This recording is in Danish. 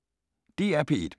DR P1